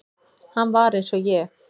Hann var eins og ég.